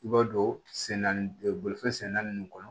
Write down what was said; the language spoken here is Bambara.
I b'a don sɛnɛfɛn sen naani kɔnɔ